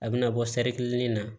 A bɛna bɔ sari in na